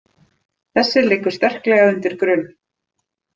Þessi liggur sterklega undir grun.